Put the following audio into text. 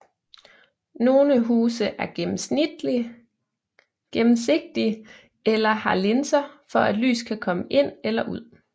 Nogle huse er gennemsigtige eller har linser for at lys kan komme ind eller ud